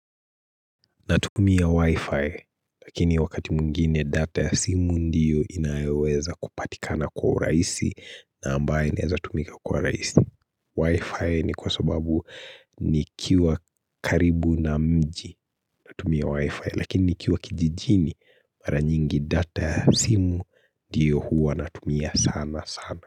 Natumia wi-fi lakini wakati mwingine data ya simu ndiyo inaeweza kupatikana kwa rahisi na ambaye naeza tumika kwa rahisi Wi-fi ni kwa sababu nikiwa karibu na mji natumia wi-fi lakini nikiwa kijijini mara nyingi data ya simu ndiyo huwa natumia sana sana.